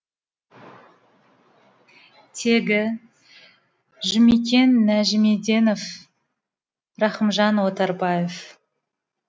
теги жұмекен нәжімеденов рахымжан отарбаев